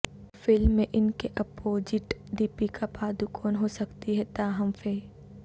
film میں ان کے اپوجٹ دیپکا پادکون ہو سکتی ہیں تاہم ف